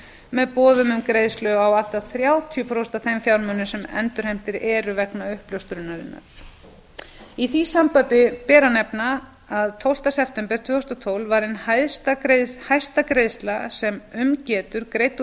með boðum um greiðslu á allt að þrjátíu prósent af þeim fjármunum sem endurheimtir eru vegna uppljóstrunarinnar í því sambandi ber að nefna að tólfta september tvö þúsund og tólf var ein hæsta greiðsla sem um getur greidd úr